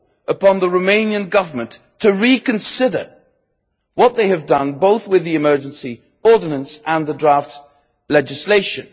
upon the Romanian Government to reconsider what they have done, both with the emergency ordinance and with the draft legislation.